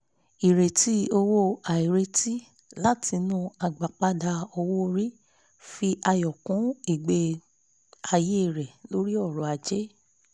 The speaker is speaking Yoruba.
ìrètí owó àìrètí látinú agbápada owó orí fi ayọ̀ kún igbe-àyé rẹ̀ lórí ọrọ̀ ajé